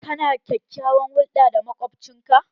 Ka na kyakyawan hulɗa da makwabcin ka?